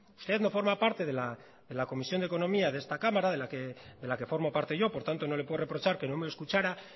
usted no forma parte de la comisión de economía de esta cámara de la que forma parte yo por tanto no le puedo reprochar que no me escuchará